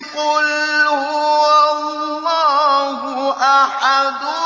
قُلْ هُوَ اللَّهُ أَحَدٌ